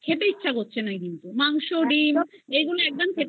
ইচ্ছা করছে না কিন্তু মাংস ডিম এইগুলো একদম খেতে